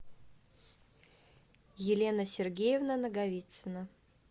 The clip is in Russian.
елена сергеевна наговицына